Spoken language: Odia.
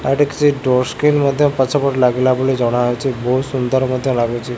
ଆଉ ଏଠି କିଛି ଡୋର ସ୍କ୍ରିନ ମଧ୍ୟ ପଛ ପଟେ ଲାଗିଲା ଭଳି ଜଣାଯାଉଚି ବହୁତ ସୁନ୍ଦର ମଧ୍ୟ ଲାଗୁଚି।